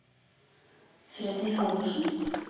Freddy Halvorsen